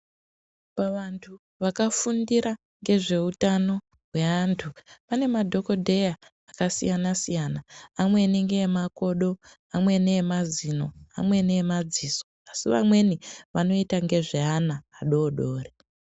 Pa vantu vaka fundira ngezve utano hwe antu pane madhokodheya aka siyana siyana amweni nge makodo amweni emazino amwei emadziso asi vamweni vanoita ngezve ana adodori.